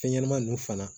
Fɛn ɲɛnɛmani nunnu fana